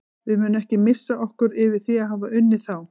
Við munum ekki missa okkur yfir því að hafa unnið þá.